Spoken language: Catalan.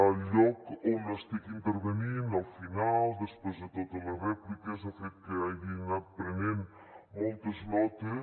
el lloc on estic intervenint al final després de totes les rèpliques ha fet que hagi anat prenent moltes notes